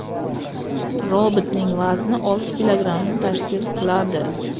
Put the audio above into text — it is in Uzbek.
Robotning vazni olti kilogrammni tashkil qiladi.